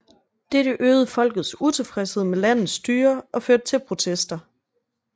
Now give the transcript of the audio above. Dette øgede folkets utilfredshed med landets styre og førte til protester